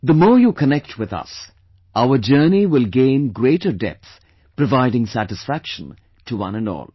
The more you connect with us, our journey will gain greater depth, providing, satisfaction to one and all